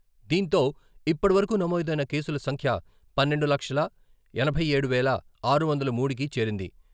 దీంతో ఇప్పటివరకు నమోదైన కేసుల సంఖ్య పన్నెండు లక్షల ఎనభై ఏడు వేల ఆరు వందల మూడుకి చేరింది.